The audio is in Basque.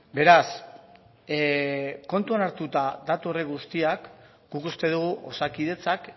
beraz kontuan hartuta datu horiek guztiak guk uste dugu osakidetzak